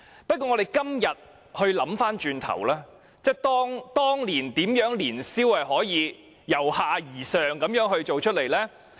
不過，我們今天回想，當年年宵市場是如何由下而上辦成的呢？